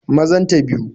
Mazan ta biyu